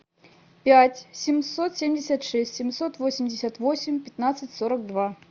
пять семьсот семьдесят шесть семьсот восемьдесят восемь пятнадцать сорок два